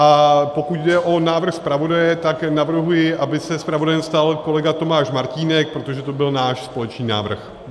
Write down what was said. A pokud jde o návrh zpravodaje, tak navrhuji, aby se zpravodajem stal kolega Tomáš Martínek, protože to byl náš společný návrh.